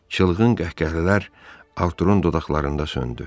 Çılğın qəhqəhələr Arturun dodaqlarında söndü.